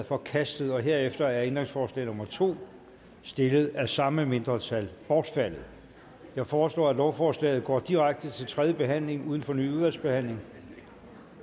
forkastet herefter er ændringsforslag nummer to stillet af samme mindretal bortfaldet jeg foreslår at lovforslaget går direkte til tredje behandling uden fornyet udvalgsbehandling